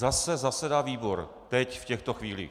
Zase zasedá výbor, teď, v těchto chvílích.